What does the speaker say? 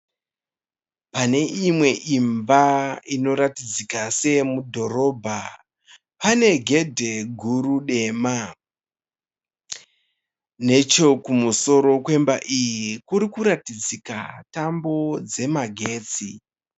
Pane imwe imba inotaridzika seyemudhorobha, pane gedhe guru dema, nechekumosOro kwemba iyi kuri kuratidza tambo dzemagetsi.